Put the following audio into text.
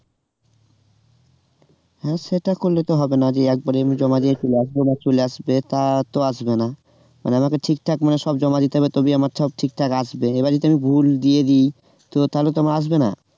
হ্যাঁ সেটা করলে তো হবে না যে একবারেই আমি জমা দিয়ে চলে আসবো তা তো আসবে না মানে আমাকে ঠিক মানে সব জমা দিতে হবে তবেই আমার সব ঠিকঠাক আসবে এবার যদি আমি ভুল দিয়ে দিই তো তালে তো আমার আসবে না